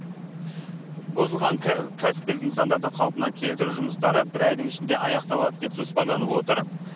бұзылған кәсіпкер нысандарды қалпына келтіру жұмыстары бір айдың ішінде аяқталады деп жоспарланып отыр